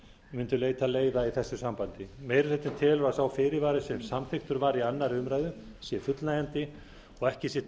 mundu leita leiða í þessu sambandi meiri hlutinn telur að sá fyrirvari sem samþykktur var við önnur umræða sé fullnægjandi og ekki sé